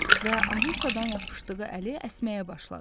Və Alisadan yapışdığı əli əsməyə başladı.